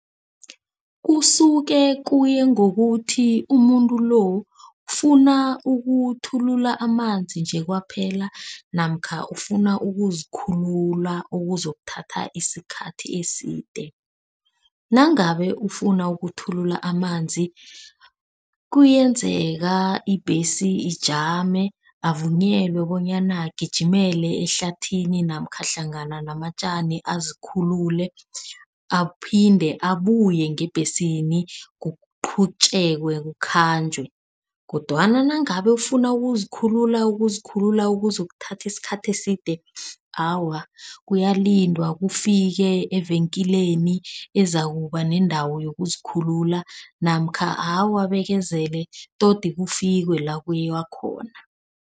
Kusuke kuya ngokuthi umuntu lo ufuna ukuthulula amanzi nje kwaphela namkha ufuna ukuzikhulula okuzokuthatha isikhathi eside. Nangabe ufuna ukuthulula amanzi, kuyenzeka ibhesi ijame avunyelwe bonyana agijimele ehlathini namkha hlangana namatjani azikhululile aphinde abuye ngebhesini. Kuqhutjekwe kukhanjwe kodwana nangabe ufuna ukuzikhulula, ukuzikhulula okuzokuthatha isikhathi eside. Awa uyalindwa kufike evekeleni ezizakuba neendawo yokuzikhulula namkha abekezele todi kufikwe la kuyiwa khona.